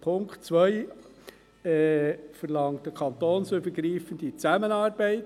Punkt 2 verlangt eine kantonsübergreifende Zusammenarbeit.